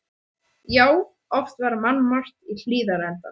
Já, oft var mannmargt í Hlíðarenda.